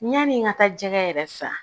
Yani n ka taa jɛgɛ yɛrɛ san